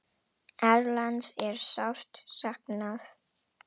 Erlends er sárt saknað.